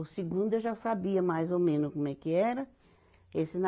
O segundo eu já sabia mais ou menos como é que era. Que esse